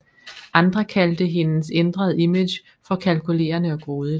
Andre kaldte hendes ændrede image for kalkulerende og grådigt